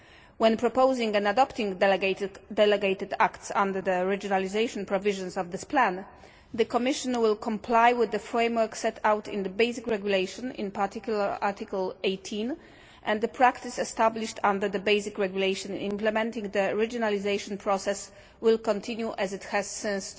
When proposing and adopting delegated acts under their regionalisation provisions of this plan, the Commissioner will comply with the framework set out in the basic regulation, in particular Article 18, and the practice established under the basic regulation implementing the regionalisation process will continue as it has since